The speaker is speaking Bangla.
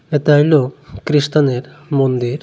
এতা হইলো খ্রীস্তানের মন্দির।